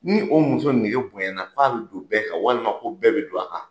Ni o muso nege bonyɛnna fɔ a bi don bɛɛ kan walima ko bɛɛ bɛ don a kan.